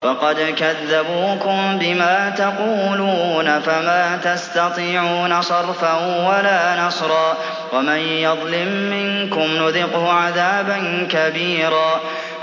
فَقَدْ كَذَّبُوكُم بِمَا تَقُولُونَ فَمَا تَسْتَطِيعُونَ صَرْفًا وَلَا نَصْرًا ۚ وَمَن يَظْلِم مِّنكُمْ نُذِقْهُ عَذَابًا كَبِيرًا